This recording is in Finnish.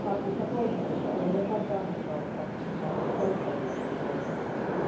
Artikla 13 ei ole vain kahden kauppa vaan käyttäjilläkin on oikeutensa.